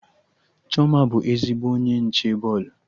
Chioma bụ ezigbo onye nche bọọlụ